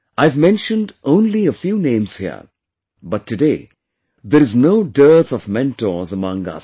I have mentioned only a few names here, but today there is no dearth of mentors among us